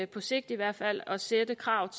på sigt i hvert fald at sætte krav